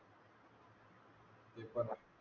ते पण आहे.